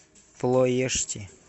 плоешти